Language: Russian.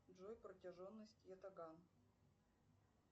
джой протяженность ятаган